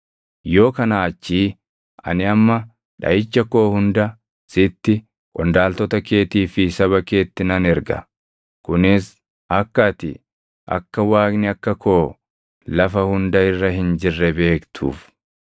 yoo kanaa achii ani amma dhaʼicha koo hunda sitti, qondaaltota keetii fi saba keetti nan erga; kunis akka ati akka Waaqni akka koo lafa hunda irra hin jirre beektuuf.